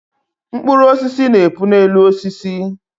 Mkpụrụ osisi na-epu na-elu osisi